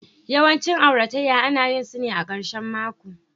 Yawancin auratayya ana yin su ne a ƙarshen mako